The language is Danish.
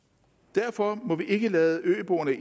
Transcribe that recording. derfor må vi ikke lade øboerne